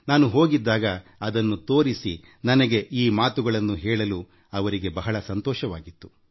ನಾನು ಹೋಗಿದ್ದಾಗ ಅದನ್ನು ತೋರಿಸಿ ನನಗೆ ಈ ಮಾತುಗಳನ್ನ ಹೇಳಲು ಅವರಿಗೆ ಬಹಳ ಸಂತಸ ಪಟ್ಟರು